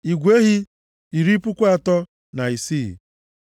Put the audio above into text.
igwe ehi, iri puku atọ na isii (36,000),